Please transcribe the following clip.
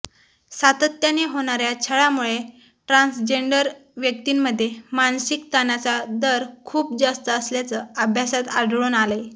सातत्याने होणाऱ्या छळामुळे ट्रान्सजेंडर व्यक्तींमध्ये मानसिक ताणाचा दर खूप जास्त असल्याचं अभ्यासात आढळून आलंय